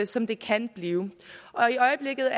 som det kan blive i øjeblikket